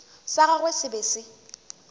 sa gagwe se be se